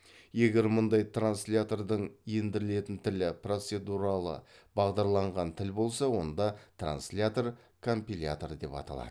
егер мұндай транслятордың ендірілетін тілі процедуралы бағдарланған тіл болса онда транслятор компилятор деп аталады